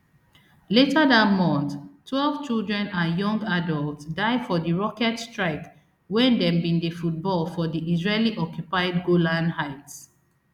later dat month twelve children and young adults die for di rocket strike wen dem bin dey football for di israelioccupied golan heights